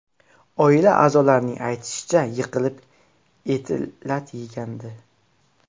Oila a’zolarining aytishicha, yiqilib eti lat yegandi .